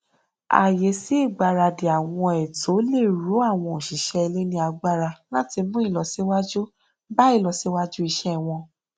ààyè sí ìgbaradì àwọn ètò le ró àwọn òṣìṣẹ ilé ní agbára láti mú ìlọsíwájú bá ìlọsíwájú iṣẹ wọn